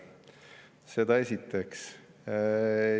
Seda esiteks.